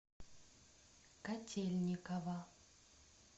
котельниково